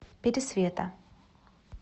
пересвета